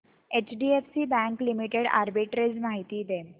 HDFC bank limited arbitrage माहिती दे